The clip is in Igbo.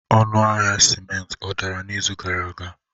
Ọnụ ahịa ciment ọ dara n'izu gara aga?